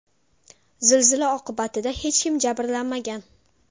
Zilzila oqibatida hech kim jabrlanmagan.